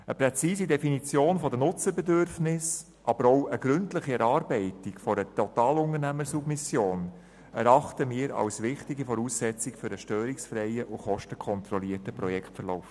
Eine präzise Definition der Nutzerbedürfnisse, aber auch die gründliche Erarbeitung einer Totalunternehmersubmission erachten wir als wichtige Voraussetzung für einen störungsfreien und kostenkontrollierten Projektverlauf.